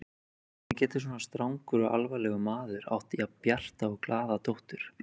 Hvernig getur svona strangur og alvarlegur maður átt jafn bjarta og glaða dóttur?